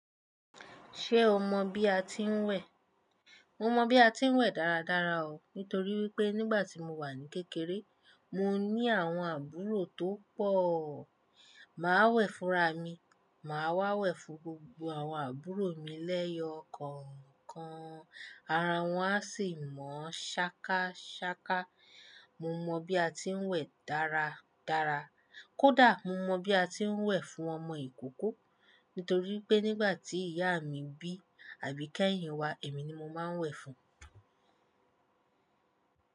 Ṣé o mọ̀ bí a ti ń wẹ̀? Mo mọ̀ bí a ti ń wẹ̀ dáradára o nítorí wípé nígbà tí mo wà ní kékeré, mo ní àwọn àbúrò tó pọ̀. Máa wẹ̀ fúnra mi, màá wà wẹ̀ fún gbogbo àwọn àbúrò mi lẹ́yọ kọ̀ọ̀kan. Ara wọn a sì mọ́ ṣákáṣáká. Mo mọ̀ bí a ti ń wẹ̀ dáradára. Kódà, mo mọ̀ bí a ti ń wẹ̀ fún ọmọ ìkóko nítorí pé nígbà tí ìyá mi bí Àbíkẹ́hìn wa, èmi ni mo máa ń wẹ̀ fún un.